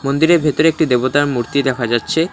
মন্দিরের ভেতরে একটি দেবতার মূর্তি দেখা যাচ্ছে।